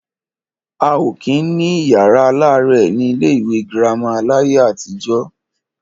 A ò kí ń ní yàrá aláàrẹ̀ ní ilé ìwé girama láyé àtijọ́.